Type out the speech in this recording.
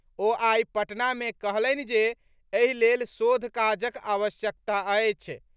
ओ आइ पटना मे कहलनि जे एहि लेल शोध काजक आवश्यकता अछि।